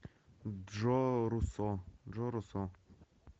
джо руссо джо руссо